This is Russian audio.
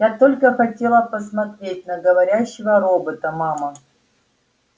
я только хотела посмотреть на говорящего робота мама